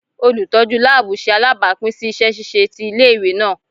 Olutọju laabu ṣe alabapin si iṣẹ ṣiṣe ti ile-iwe naa